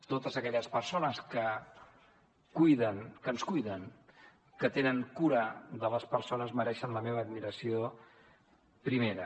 totes aquelles persones que cuiden que ens cuiden que tenen cura de les persones mereixen la meva admiració primera